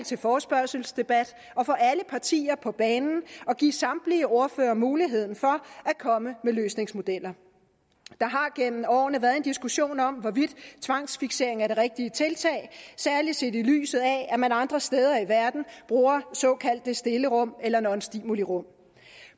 til forespørgselsdebat og få alle partier på banen og give samtlige ordførere muligheden for at komme med løsningsmodeller der har gennem årene været en diskussion om hvorvidt tvangsfiksering er det rigtige tiltag særlig set i lyset af at man andre steder i verden bruger såkaldte stillerum eller non stimuli rum